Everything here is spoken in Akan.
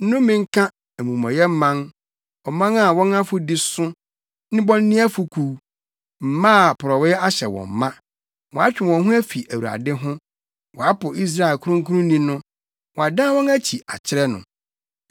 Nnome nka, amumɔyɛ man, ɔman a wɔn afɔdi so, nnebɔneyɛfo kuw, mma a porɔwee ahyɛ wɔn ma! Wɔatwe wɔn ho afi Awurade ho; wɔapo Israel Kronkronni no, wɔadan wɔn akyi akyerɛ no.